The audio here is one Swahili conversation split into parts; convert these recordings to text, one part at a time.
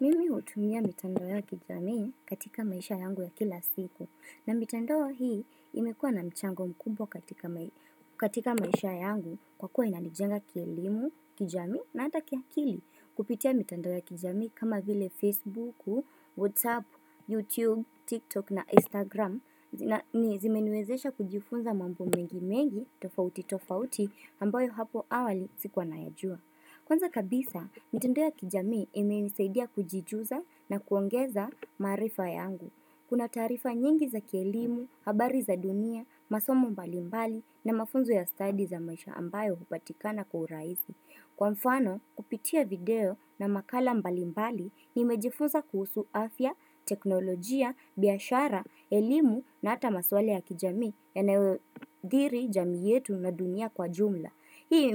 Mimi hutumia mitandoo ya kijami katika maisha yangu ya kila siku na mitando hii imekua na mchango mkubwa katika katika maisha yangu kwa kuwa inanijenga kielimu, kijamii na hata kiakili kupitia mitandao ya kijami kama vile Facebook, WhatsApp, YouTube, TikTok na Instagram na zimeniwezesha kujifunza mambo mengi mengi tofauti tofauti ambayo hapo awali sikua nayajua. Kwanza kabisa, mitandao ya kijamii imenisaidia kujijuza na kuongeza maarifa yangu. Kuna taarifa nyingi za kielimu, habari za dunia, masomo mbali mbali na mafunzo ya study za maisha ambayo hupatikana kwa urahisi. Kwa mfano, kupitia video na makala mbalimbali, nimejifunza kuhusu afya, teknolojia, biashara, elimu na hata maswali ya kijamii yanayodhiri jamii yetu na dunia kwa jumla. Hii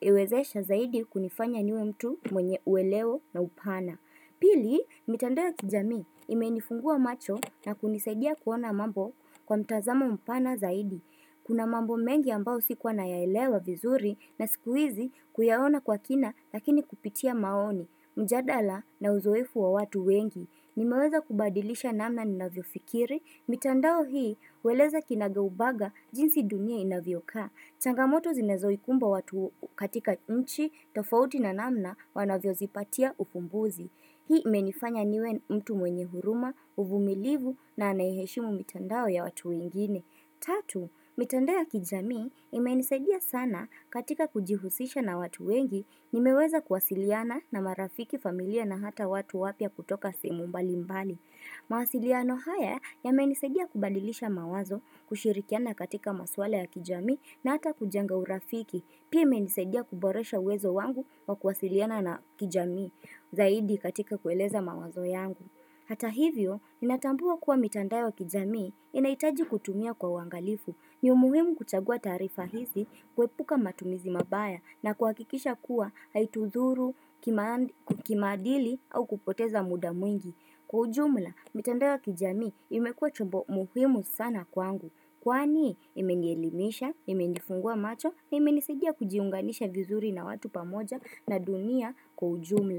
imewezesha zaidi kunifanya niwe mtu mwenye uelewo na upana. Pili, mitandao ya kijamii imenifungua macho na kunisaidia kuona mambo kwa mtazamo upana zaidi. Kuna mambo mengi ambao sikuwa nayaelewa vizuri na sikuizi kuyaona kwa kina lakini kupitia maoni. Mjadala na uzoefu wa watu wengi. Nimeweza kubadilisha namna ninavyofikiri. Mitandao hii hueleza kinaga ubaga jinsi dunia inavyokaa. Changamoto zinazo ikumba watu katika nchi, tofauti na namna wanavyo zipatia ufumbuzi. Hii menifanya niwe mtu mwenye huruma, uvumilivu na anayeheshimu mitandao ya watu wengine. Tatu, mitandao ya kijamii imenisaidia sana katika kujihusisha na watu wengi nimeweza kuwasiliana na marafiki familia na hata watu wapya kutoka sehemu mbali mbali. Mawasiliano haya yamenisaidia kubadilisha mawazo kushirikiana katika maswala ya kijamii na hata kujenga urafiki. Pia imenisadia kuboresha uwezo wangu wa kuwasiliana na kijamii zaidi katika kueleza mawazo yangu. Hata hivyo, natambua kuwa mitandao wa kijamii inaitaji kutumia kwa uangalifu. Ni umuhimu kuchagua taarifa hizi, kuepuka matumizi mabaya na kuhakikisha kuwa haitudhuru, kimaadili au kupoteza muda mwingi. Kwa ujumla, mitandao wa kijamii imekua chombo muhimu sana kwangu. Kwani, imenielimisha, imenifungua macho, imenisidia kujiunganisha vizuri na watu pamoja na dunia kwa ujumla.